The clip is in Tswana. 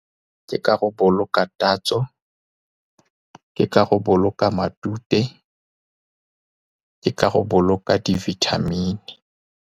Ke ka go boloka tatso, ke ka go boloka matute, ke ka go boloka di-vitamin-i.